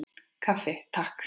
Kaffi, Takk!